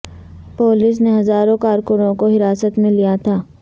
police نے ہزاروں کارکنوں کو حراست میں لیا تھا